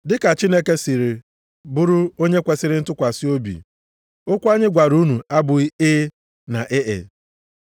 Ma dịka Chineke si bụrụ onye kwesiri ntụkwasị obi, okwu anyị gwara unu abụghị “E,” na “E e.”